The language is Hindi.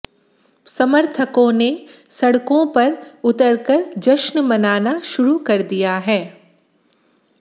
समर्थकों ने सडक़ों पर उतरकर जश्न मनाना शुरू कर दिया है